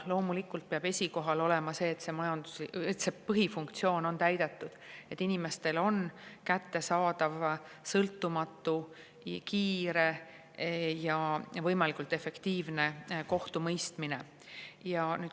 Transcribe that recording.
Loomulikult peab esikohal olema see, et see põhifunktsioon on täidetud, et inimestele on kättesaadav sõltumatu, kiire ja võimalikult efektiivne kohtumõistmine.